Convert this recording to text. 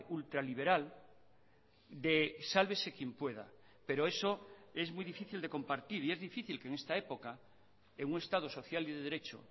ultraliberal de sálvese quien pueda pero eso es muy difícil de compartir y es difícil que en esta época en un estado social y de derecho